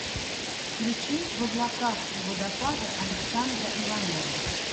включи в облаках у водопада александра иванова